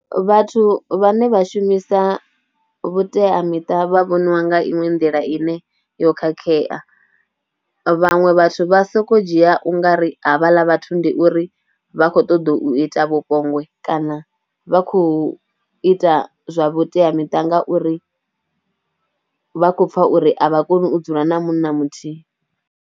Vhathu vhane vha shumisa vhuteamiṱa vha vhoniwa nga iṅwe nḓila ine yo khakhea, vhaṅwe vhathu vha sokou dzhia u nga ri havhaḽa vhathu ndi uri vha khou ṱoḓa u ita vhupombwe kana vha khou ita zwa vhuteamiṱa ngauri vha khou pfha uri a vha koni u dzula na munna muthihi.